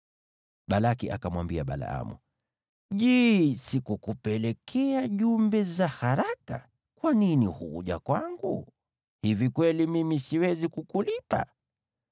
Balaki akamwambia Balaamu, “Je, sikukupelekea jumbe za haraka? Kwa nini hukuja kwangu? Hivi kweli mimi siwezi kukulipa?”